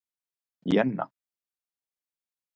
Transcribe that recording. Jenna